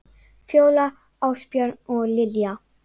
Fjóla, Ásbjörn og Lilja.